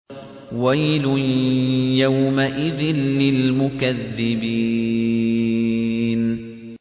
وَيْلٌ يَوْمَئِذٍ لِّلْمُكَذِّبِينَ